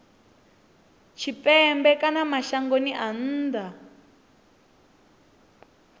tshipembe kana mashangoni a nnḓa